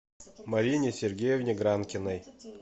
марине сергеевне гранкиной